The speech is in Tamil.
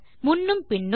முன்னும் பின்னும்